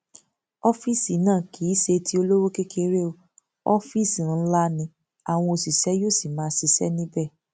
ọfíìsì náà kì í ṣe tí olówó kékeré o ọfíìsì ńlá ni àwọn òṣìṣẹ yóò sì máa ṣiṣẹ níbẹ